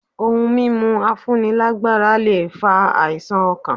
Ohun mímu afúni lágbára lè fa àìsàn ọkàn.